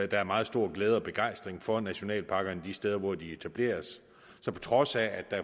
der er meget stor glæde og begejstring for nationalparkerne de steder hvor de etableres så på trods af at der